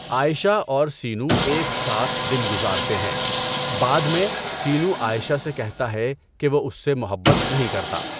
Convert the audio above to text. عائشہ اور سینو ایک ساتھ دن گزارتے ہیں، بعد میں، سینو عائشہ سے کہتا ہے کہ وہ اس سے محبت نہیں کرتا۔